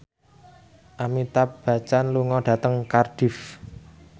Amitabh Bachchan lunga dhateng Cardiff